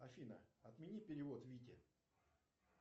афина отмени перевод вите